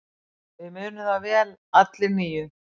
Við munum það vel allir níu.